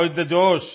होव इस थे जोश